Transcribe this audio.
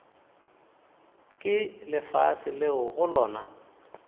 ke lefase leo go lona